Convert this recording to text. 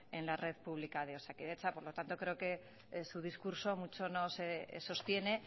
en la red pública de osakidetza por lo tanto creo que su discurso mucho no se sostiene